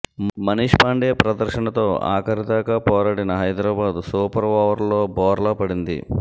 మనీశ్ పాండే ప్రదర్శనతో ఆఖరిదాకా పోరాడిన హైదరాబాద్ సూపర్ ఓవర్లో బోర్లా పడింది